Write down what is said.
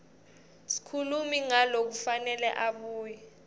sikhulumi ngalokufanele abuye